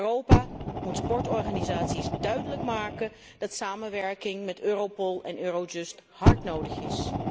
Europa moet sportorganisaties duidelijk maken dat samenwerking met Europol en Eurojust hard nodig is.